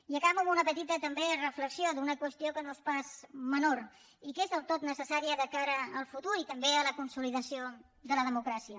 i acabo amb una petita també reflexió d’una qüestió que no és pas menor i que és del tot necessària de cara al futur i també a la consolidació de la democràcia